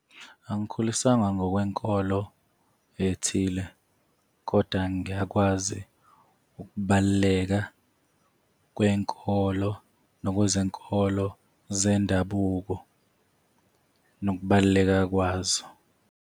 Angikhuliswanga ngokwenkolo ethile kodwa ngiyakwazi ukubaluleka kwenkolo, nokwezenkolo zendabuko, nokubaluleka kwazo.